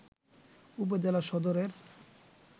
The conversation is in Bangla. উপজেলা সদরের